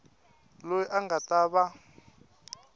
loyi a nga ta va